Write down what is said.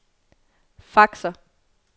faxer